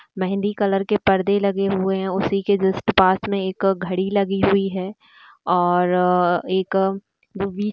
Mehndi colour के पर्दे लगे हुए है उसी के जस्ट पास में एक घड़ी लगी हुई है । और एक वि--